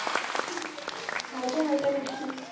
হালকা হালকা নিচ্ছি।